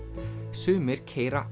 sumir keyra